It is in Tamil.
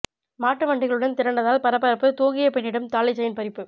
மாட்டு வண்டிகளுடன் திரண்டதால் பரபரப்பு தூங்கிய பெண்ணிடம் தாலி செயின் பறிப்பு